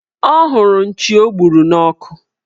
Ọ hụrụ nchi o gburu n' ọkụ